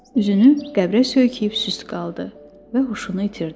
Üzünü qəbrə söykəyib süst qaldı və huşunu itirdi.